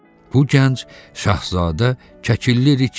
Bu gənc Şahzadə Kəkilli Rike idi.